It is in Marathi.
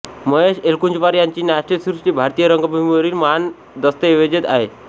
महेश एलकुंचवार यांची नाट्यसृष्टी भारतीय रंगभूमीवरील महान दस्तऐवज आहे